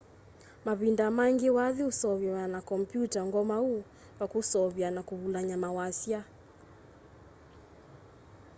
mavinda maingi wathi useuvaw'a na kompyuta ngomau kwa kuseuvya na kuvulany'a mawasya